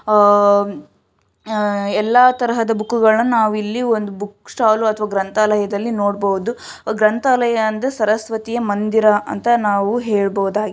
ಉಹ್ ಎಲ್ಲಾ ತರಹದ ಬುಕ್ಕುಗಳನ್ನ ನಾವಿಲ್ಲಿ ಒಂದು ಬುಕ್ ಸ್ಟಾಲ್ ಅಥವಾ ಗ್ರಂಥಾಲಯದಲ್ಲಿ ನೋಡಬಹುದು ಗ್ರಂಥಾಲಯ ಅಂದ್ರೆ ಸರಸ್ವತಿಯ ಮಂದಿರ ಅಂತ ನಾವು ಹೇಳಬಹುದಾಗಿದೆ.